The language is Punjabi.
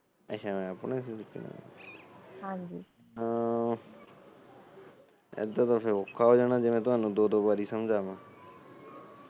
ਐਦਾ ਤਾ ਫਿਰ ਅੋਖਾ ਹੋ ਜਾਣਾ ਬੇ ਮੈ ਤੁਹਾਨੂੰ ਦੋ ਦੋ ਬਾਰੀ ਸਮਝਾਮਾ